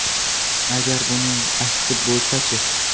Agar buning aksi bo‘lsa-chi?